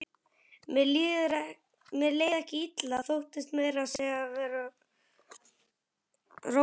Mér leið ekki illa, þóttist meira að segja vera rólegur.